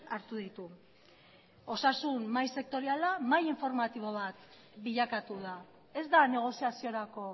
hartu ditu osasun mahai sektoriala mahai informatibo bat bilakatu da ez da negoziaziorako